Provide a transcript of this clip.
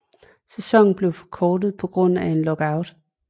Sæsonen blev forkortet på grund af en lockout